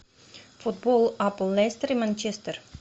футбол апл лестер и манчестер